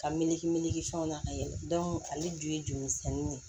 Ka miiri miiri fɛnw na ka yɛlɛ ale dun ye joli misɛnnin de ye